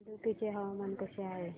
इडुक्की चे हवामान कसे आहे